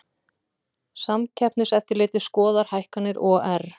Samkeppniseftirlitið skoðar hækkanir OR